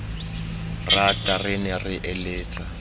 rata re ne re eletsa